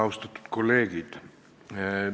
Austatud kolleegid!